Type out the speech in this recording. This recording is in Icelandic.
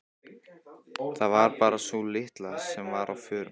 Það var bara sú litla sem var á förum.